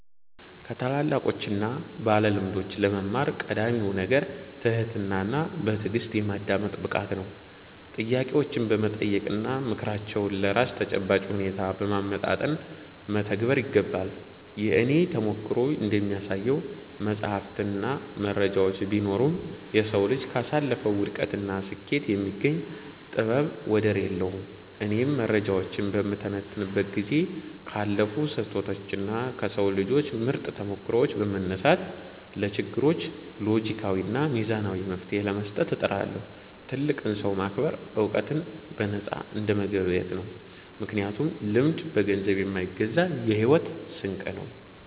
ከታላላቆችና ባለልምዶች ለመማር ቀዳሚው ነገር ትህትናና በትዕግሥት የማዳመጥ ብቃት ነው። ጥያቄዎችን በመጠየቅና ምክራቸውን ለራስ ተጨባጭ ሁኔታ በማመጣጠን መተግበር ይገባል። የእኔ ተሞክሮ እንደሚያሳየው፣ መጻሕፍትና መረጃዎች ቢኖሩም፣ የሰው ልጅ ካሳለፈው ውድቀትና ስኬት የሚገኝ ጥበብ ወደር የለውም። እኔም መረጃዎችን በምተነትንበት ጊዜ ካለፉ ስህተቶችና ከሰው ልጆች ምርጥ ተሞክሮዎች በመነሳት፣ ለችግሮች ሎጂካዊና ሚዛናዊ መፍትሔ ለመስጠት እጥራለሁ። ትልቅን ሰው ማክበር ዕውቀትን በነፃ እንደመገብየት ነው፤ ምክንያቱም ልምድ በገንዘብ የማይገዛ የሕይወት ስንቅ ነው።